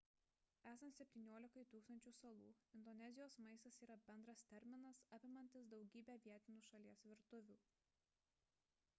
esant 17 000 salų indonezijos maistas yra bendras terminas apimantis daugybę vietinių šalies virtuvių